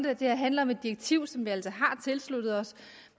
at det her handler om et direktiv som vi altså har tilsluttet os